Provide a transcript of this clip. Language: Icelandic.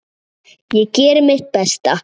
Ég geri mitt besta.